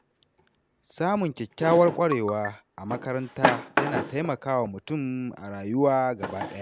Samun kyakkyawar ƙwarewa a makaranta yana taimakawa mutum a rayuwa gaba ɗaya.